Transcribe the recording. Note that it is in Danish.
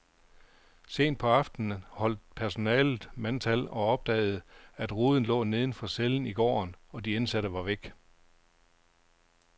Sent på aftenen holdt personalet mandtal og opdagede, at ruden lå neden for cellen i gården, og de indsatte var væk.